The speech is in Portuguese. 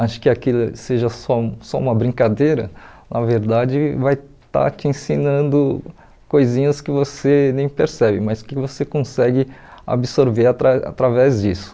acho que aquilo seja só só uma brincadeira, na verdade vai estar te ensinando coisinhas que você nem percebe, mas que você consegue absorver atra através disso.